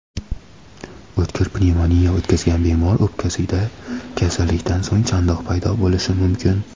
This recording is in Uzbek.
o‘tkir pnevmoniya o‘tkazgan bemor o‘pkasida kasallikdan so‘ng chandiq paydo bo‘lishi mumkin.